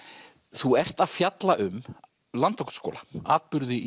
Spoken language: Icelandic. þú ert að fjalla um Landakotsskóla atburði í